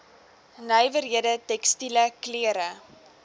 nywerhede tekstiele klere